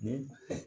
Ni